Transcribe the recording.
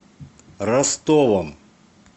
ростовом